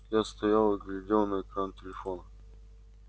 я стоял и глядел на экран телефона